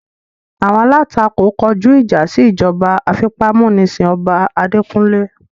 Awọn alatako kọju ija si ijọba afipamunisin ọba adekunle